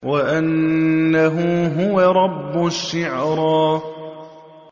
وَأَنَّهُ هُوَ رَبُّ الشِّعْرَىٰ